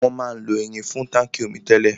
Wọn máa ń lo irin fún táńkì omi tẹ́lẹ̀.